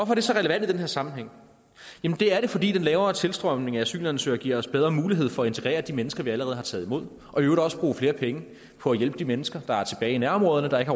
er det så relevant i den her sammenhæng det er det fordi den lavere tilstrømning af asylansøgere giver os bedre mulighed for at integrere de mennesker vi allerede har taget imod og i øvrigt også bruge flere penge på at hjælpe de mennesker der er tilbage i nærområderne der ikke